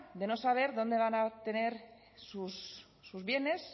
de no saber dónde van a obtener sus bienes